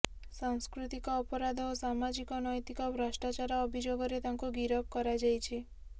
ସାସ୍କୃତିକ ଅପରାଧ ଓ ସାମାଜିକ ନୈତିକ ଭଷ୍ଟ୍ରଚାର ଅଭିଯୋଗରେ ତାଙ୍କୁ ଗିରଫ କରାଯାଇଛି